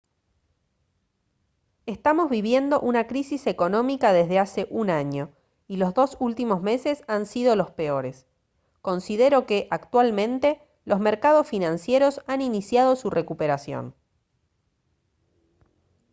estamos viviendo una crisis económica desde hace un año y los dos últimos meses han sido los peores. considero que actualmente los mercados financieros han iniciado su recuperación»